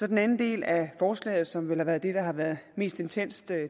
den anden del af forslaget som vel har været det der har været mest intenst